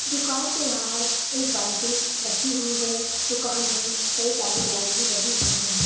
दुकान के बाहर एक बाल्टी रखी हुई है दुकान में कई सारी लाइट भी लगी हुई है।